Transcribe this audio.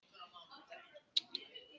Filippa, hækkaðu í hátalaranum.